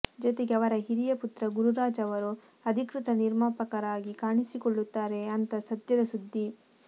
ಜೊತೆಗೆ ಅವರ ಹಿರಿಯ ಪುತ್ರ ಗುರುರಾಜ್ ಅವರು ಅಧಿಕೃತ ನಿರ್ಮಾಪಕರಾಗಿ ಕಾಣಿಸಿಕೊಳ್ಳುತ್ತಾರೆ ಅಂತ ಸದ್ಯದ ಸುದ್ದಿ